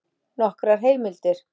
Nokkrar heimildir: